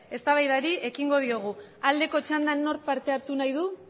eztabaidari ekingo diogu aldeko txandan nork parte hartu nahi du